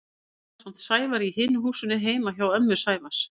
Ég dvaldi ásamt Sævari í hinu húsinu heima hjá ömmu Sævars.